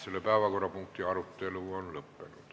Selle päevakorrapunkti arutelu on lõppenud.